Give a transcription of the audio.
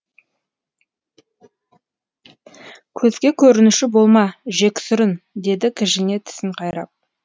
көзге көрінуші болма жексұрын деді кіжіне тісін қайрап